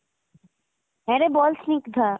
হ্যাঁ রে বল স্নিগ্ধা।